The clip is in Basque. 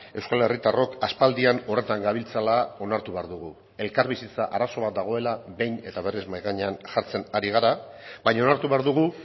euskal herritarrok aspaldian horretan gabiltzala onartu behar dugu elkarbizitza arazo bat dagoela behin eta berriz mahai gainean jartzen ari gara baina onartu behar dugu